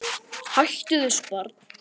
Hættu þessu barn!